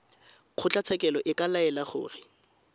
kgotlatshekelo e ka laela gore